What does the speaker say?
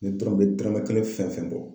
Nin dɔrɔn me dɔrɔmɛ kelen fɛn fɛn bɔ.